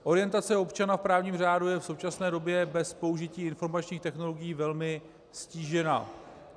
Orientace občana v právním řádu je v současné době bez použití informačních technologií velmi ztížena.